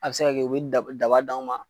A be se ka kɛ u be daba d'anw ma